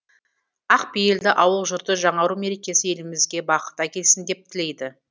ақ пейілді ауыл жұрты жаңару мерекесі елімізге бақыт әкелсін деп тілейді